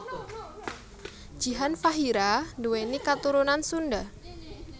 Jihan Fahira nduwéni katurunan Sunda